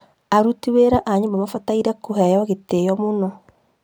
Aruti wĩra a nyũmba mabataire kũheo gĩtĩo mũno